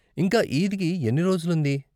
ఇంకా ఈద్కి ఎన్ని రోజులు ఉంది?